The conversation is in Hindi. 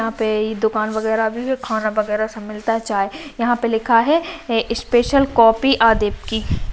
यहां पर दुकान वगैरा भी खाना वगैरा भी सब मिलता है चाय यहां पर लिखा है स्पेशल कॉफी --